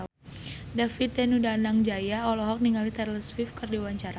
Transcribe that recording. David Danu Danangjaya olohok ningali Taylor Swift keur diwawancara